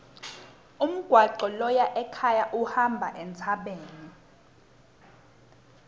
umgwaco loya ekhaya uhamba entsabeni